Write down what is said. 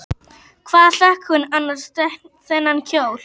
Hvar fékk hún annars þennan kjól?